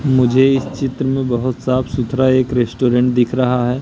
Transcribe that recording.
मुझे इस चित्र में बहोत साफ सुथरा एक रेस्टोरेंट दिख रहा है।